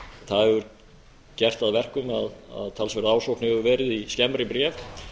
það hefur gert það að verkum að talsverð ásókn hefur verið í skemmri bréf